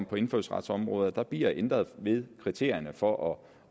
på indfødsretsområdet der bliver ændret ved kriterierne for at